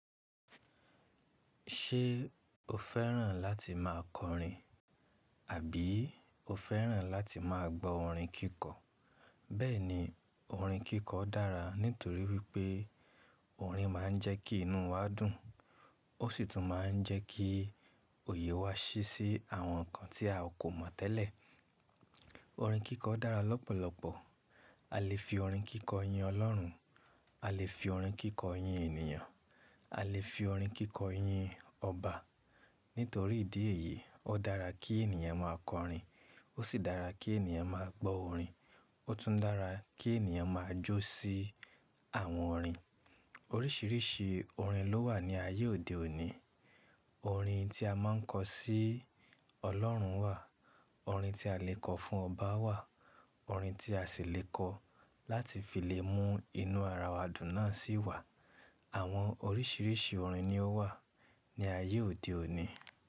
Ṣé o fẹ́ràn láti máa kọrin àbí o fẹ́ràn láti máa gbọ́ orin kíkọ? Bẹ́ẹ̀ ni, orin kíkọ dára nítorí wípé orin máa ń jẹ́ kí inú wa dùn ó sì tún máa ń jẹ́ kí òye wa ṣí sí àwọn nǹkan tí a kò mọ̀ tẹ́lẹ̀. Orin kíkọ dára lọ́pọ̀lọpọ̀. A lè fi orin kíkọ yin Ọlọ́run, a lè fi orin kíkọ yin ènìyàn, a lè fi orin kíkọ yin ọba. Nítorí ìdí èyí, ó dára kí ènìyàn máa kọrin, ó sì dára kí ènìyàn máa gbọ́ orin, ó tún dára kí ènìyàn máa jó sí àwọn orin. Oríṣiríṣi orin ló wà ní ayé òde òní. Orin tí a máa ń kọ sí Ọlọ́run wà, orin tí a lè kọ fún ọba wà, orin tí a sì lè kọ láti fi lè mú inú ara wa dùn náà sì wà. Àwọn oríṣiríṣi orin ni ó wà ní ayé òde òní.